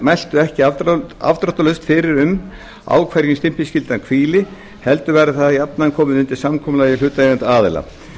mæltu ekki afdráttarlaust fyrir um á hverjum stimpilskylda hvíli heldur væri það jafnan komið undir samkomulagi hlutaðeigandi aðila